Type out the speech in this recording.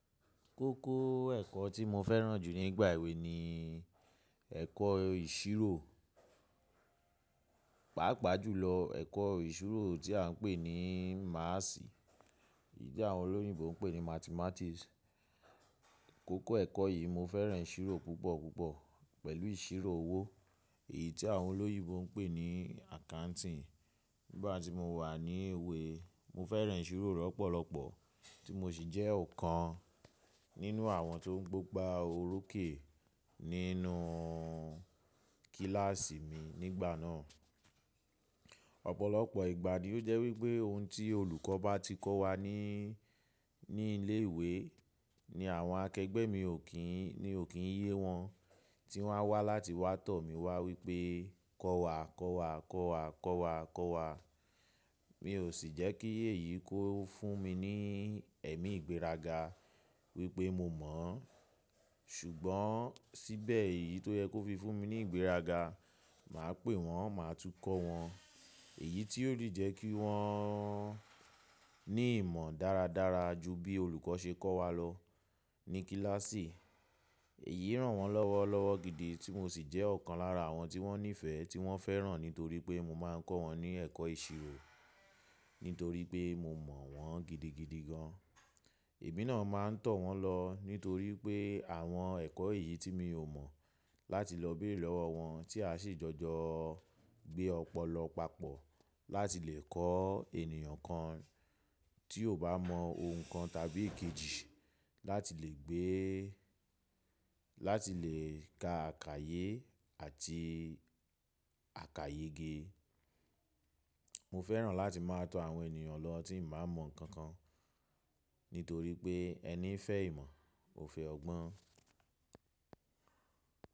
Kókó ẹ̀kọ́ tí mo fẹ́ràn jù ní ìgbà èwe ni ẹ̀kọ́ ìṣirò, pàápàá jùlọ ẹ̀kọ́ ìṣirò tí a ń pè ní máàsì, èyí tí àwọn olóyìnbo ń pè ní mathematics. Kókó ẹ̀kọ́ yìí mo fẹ́ràn ìṣirò púpọ̀ púpọ̀ pẹ̀lú ìṣirò owó, èyí tí àwọn olóyìnbo ń pè ní accounting. Nígbà tí mo wà ní ilé ìwé, mo fẹ́ràn ìṣirò lọ́pọ̀lọ́pọ̀ tí mo sì jẹ́ ọ̀kan nínú àwọn tó ń gbógbá orokè. Nínú kíláàsì mi nígbà náà. Ọ̀pọ̀lọpọ̀ ìgbà ni ó jẹ́ wípé ohun tí olùkọ́ bá ti kọ́ wa ní, ní ilé ìwé ni àwọn akẹgbẹ́ mi ò kín, ni ò kín yé wọn tí wọ́n á wá láti wá tọ̀ mí wá wípé kọ́ wa, kọ́ wa, kọ́ wa, kọ́ wa, kọ́ wa. Mi ò sì jẹ́ kí èyí kó fún mi ní ẹ̀mí ìgbéraga wípé mo mọ̀ ọ́n ṣùgbọ́n síbẹ̀ èyí tó yẹ kó fi fún mi ní ìgbéraga, mà á pè wọ́n, mà á tún kọ́ wọn. Èyí tí ó rí jẹ́ kí wọ́n ní ìmọ̀ dáradára ju bí olùkọ́ ṣe kọ́ wa lọ ní kíláàsì. Èyí ràn wọ́n lọ́wọ́ lọ́wọ́ gidi tí mo sì jẹ́ ọ̀kan lára àwọn tí wọ́n nífẹ̀ẹ́ tí wọ́n fẹ́ràn nítorí pé mo máa ń kọ́ wọn ní ẹ̀kọ́ ìṣirò, nítorí pé mo mọ̀ wọ́n gidigidi gan. Èmi náà máa ń tọ̀ wọ́n lọ nítorí pé àwọn ẹ̀kọ́ èyí tí mi ò mọ̀ láti lọ béèrè lọ́wọ́ wọn tí a sì jọjọ gbé ọ̀pọ̀lọpọ̀ papọ̀ láti lè kọ́ ènìyàn kan tí ò bá mọ ohun kan tàbí èkejì láti lè gbé, láti lè ka àkayé àti àkayege. Mo fẹ́ràn láti máa tọ àwọn ènìyàn lọ tí màá mọ ǹkan kan nítorí pé ẹni fẹ́ ìmọ̀ ò fẹ́ ọgbọ́n.